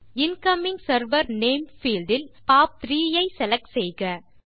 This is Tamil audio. இன்கமிங் செர்வர் நேம் பீல்ட் இல் பாப்3 ஐ செலக்ட் செய்க